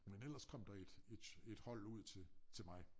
Men ellers kom der et et et hold ud til til mig